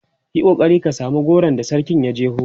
Yi kokari ka samu goron da sarkin ya jeho!